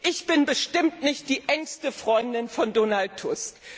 Ich bin bestimmt nicht die engste Freundin von Donald